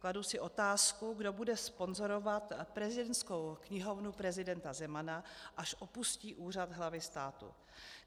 Kladu si otázku, kdo bude sponzorovat prezidentskou knihovnu prezidenta Zemana, až opustí úřad hlavy státu.